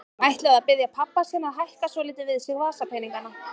Hann ætlaði að biðja pabba sinn að hækka svolítið við sig vasapeningana.